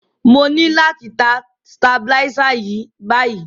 Mo ni láti tan stabilizer yen báyíí